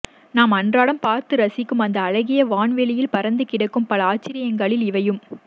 நாம் அன்றாடம் பார்த்து ரசிக்கும் அந்த அழகிய வான்வெளியில் பறந்து கிடைக்கும் பல ஆச்சர்யங்களில் இவையும்